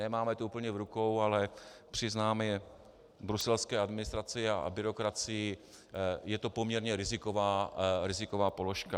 Nemáme to úplně v rukou, ale přiznáme bruselské administraci a byrokracii, je to poměrně riziková položka.